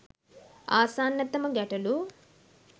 ආසන්නතම ගැටළු